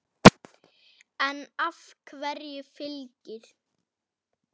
En af hverju Fylkir?